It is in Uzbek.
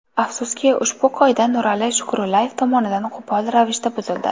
Afsuski, ushbu qoida Nurali Shukrullayev tomonidan qo‘pol ravishda buzildi.